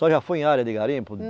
A senhora já foi em área de garimpo?